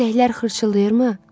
Sisəklər xırçıldayırmı?